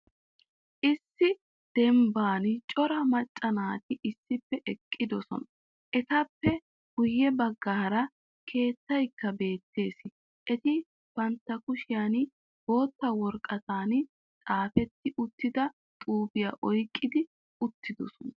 Issi dembban cora macca naati issippe eqqiddosona. Etappe guye baggaara keettaykka beettees. Eti bantta kushshiyan bootta woraqatan xaafeti uttida xuufiya oyqi uttiddossona.